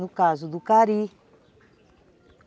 No caso do cari.